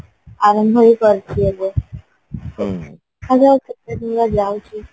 ଆରମ୍ଭ ହିଁ କରିଚି ଏବେ ଦେଖା ଯାଉ କେତେ ଦିନ ଯାଉଚି